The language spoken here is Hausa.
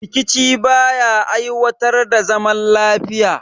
Rikici ba ya aiwatar da zaman lafiya